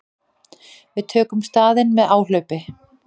Við tökum staðinn með áhlaupi.